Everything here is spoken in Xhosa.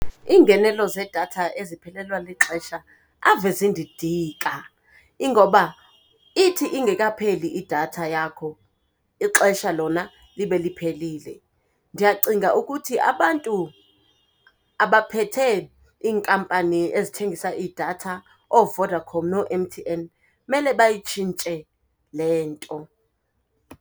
Iingenelo zeedatha eziphelelwa lixesha ave zindidika, ingoba ithi ingekapheli idatha yakho ixesha lona libe liphelile. Ndiyacinga ukuthi abantu abaphethe iinkampani ezithengisa iidatha, ooVodacom noo-M_T_N, mele bayitshintshe le nto.